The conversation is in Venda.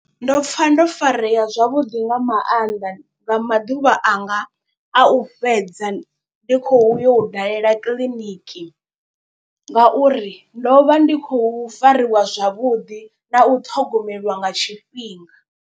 Ndo pfa ndo farea zwavhuḓi nga maanḓa nga maḓuvha anga a u fhedza ndi khou yo dalela kiḽiniki. Ngauri ndo vha ndi khou fariwa zwavhuḓi na u ṱhogomelwa nga tshifhinga.